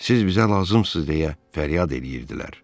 Siz bizə lazımsız deyə fəryad eləyirdilər.